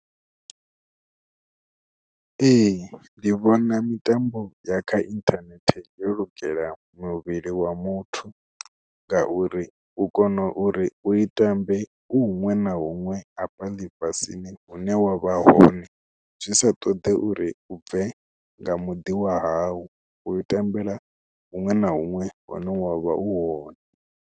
Ee ndi vhona mitambo ya kha inthanethe yo lugela muvhili wa muthu ngauri u kona uri u i tambe u huṅwe na huṅwe hafha ḽifhasini hune wa vha hone zwi sa ṱoḓe uri bve nga muḓi wa hau u ṱambela huṅwe na huṅwe hune wa vha u hone.